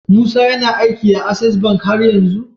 Musa yAna aiki a access bank haryanzu?